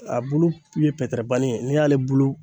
A bulu ye pɛtɛrɛbani ye , n'i y'ale bulu